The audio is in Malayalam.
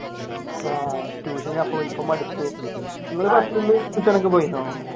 ആഹ് ഇപ്പൊ മടുത്തു പോയിരുന്നോ?